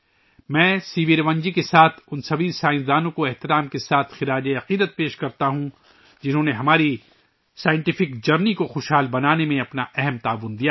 میں ، C V Raman ji کے ساتھ ساتھ، میں ان تمام سائنسدانوں کو خراج تحسین پیش کرتا ہوں ، جنہوں نے ہمارے سائنسی سفر کو تقویت بخشنے میں اہم کردار ادا کیا ہے